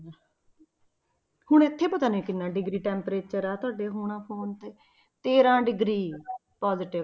ਹੁਣ ਇੱਥੇ ਪਤਾ ਨੀ ਕਿੰਨਾ degree temperatur ਹੈ ਤੁਹਾਡਾ ਹੋਣਾ phone ਤੇ ਤੇਰਾਂ degree positve